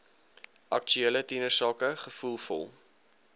aktuele tienersake gevoelvol